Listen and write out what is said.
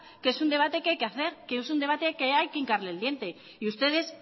que es un debate que hay que hacer que es un debate que hay que incarle el diente y ustedes